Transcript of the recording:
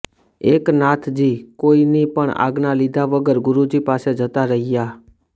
એકનાથજી કોઇની પણ આજ્ઞા લીધા વગર ગુરુજી પાસે જતા રહ્યા